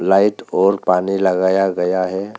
Light और पानी लगाया गया है।